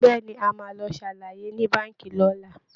Bẹ́ẹ̀ ni, a máa lọ ṣàlàyé ní Báǹkì lọ́la